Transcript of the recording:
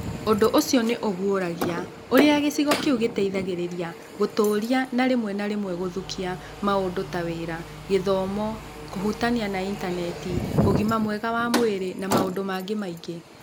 Ũndũ ũcio nĩ ũguũragia ũrĩa gĩcigo kĩu gĩteithagĩrĩria gũtũũria na rĩmwe na rĩmwe gũthũkia maũndũ ta wĩra, gĩthomo, kũhutania na Intaneti, ũgima mwega wa mwĩrĩ, na maũndũ mangĩ maingĩ.